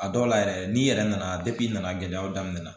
A dɔw la yɛrɛ n'i yɛrɛ nana nana gɛlɛyaw daminɛ